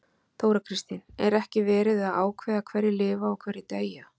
Þóra Kristín: Er ekki verið að ákveða hverjir lifa og hverjir deyja?